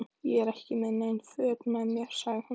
Ég er ekki með nein föt með mér, sagði hún.